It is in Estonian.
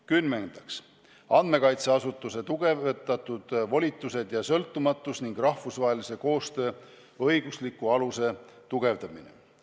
Kümnendaks, andmekaitseasutuse suuremad volitused ja sõltumatus ning rahvusvahelise koostöö õigusliku aluse tugevdamine.